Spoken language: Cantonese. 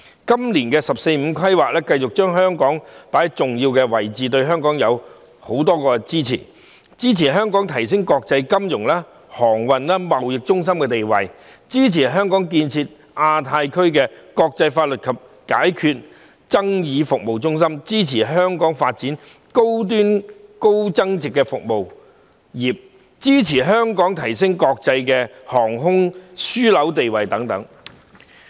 今年的"十四五"規劃繼續把香港放在重要位置，對香港給予許多支持，包括支持香港提升國際金融、航運、貿易中心地位，支持香港建設亞太區國際法律及解決爭議服務中心，支持香港發展高端高增值服務業，以及支持香港提升國際航空樞紐地位等。